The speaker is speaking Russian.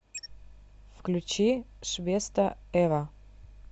включи швеста эва